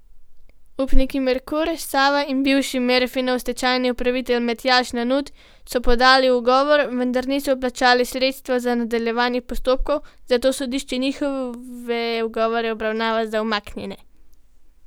Upniki Merkur, Sava in bivši Merfinov stečajni upravitelj Matjaž Nanut so podali ugovor, vendar niso vplačali sredstev za nadaljevanje postopkov, zato sodišče njihove ugovore obravnava za umaknjene.